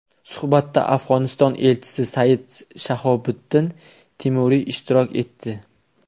Suhbatda Afg‘oniston elchisi Sayid Shahobuddin Timuriy ishtirok etdi.